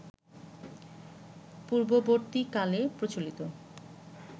পূর্ববর্তীকালে প্রচলিত